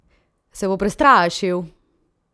Se bo prestrašil?